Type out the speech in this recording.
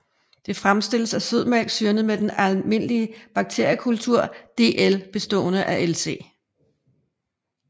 Det fremstilles af sødmælk syrnet med den almindelige bakteriekulture DL bestående af Lc